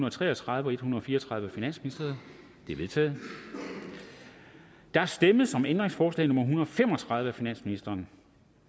og tre og tredive og en hundrede og fire og tredive af finansministeren de er vedtaget der stemmes om ændringsforslag nummer en hundrede og fem og tredive af finansministeren